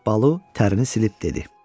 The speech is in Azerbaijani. Balu tərini silib dedi: